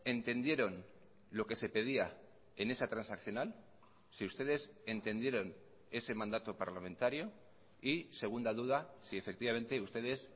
entendieron lo que se pedía en esa transaccional si ustedes entendieron ese mandato parlamentario y segunda duda si efectivamente ustedes